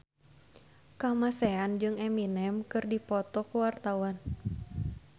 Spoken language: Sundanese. Kamasean jeung Eminem keur dipoto ku wartawan